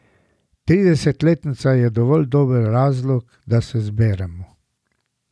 Tridesetletnica je dovolj dober razlog, da se zberemo.